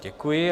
Děkuji.